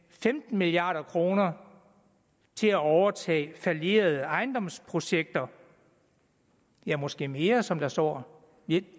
femten milliard kroner til at overtage fallerede ejendomsprojekter ja måske mere som der står